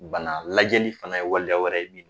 Bana lajɛli fɛnɛ ye waleya wɛrɛ ye bi